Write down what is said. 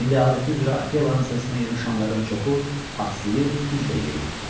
İndi adəti üzrə Akelanın səsinə yığışanların çoxu axsıyır, güclə yeriyirdi.